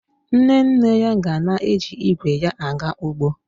Nne nne ya ga na-eji igwe ya aga ugbo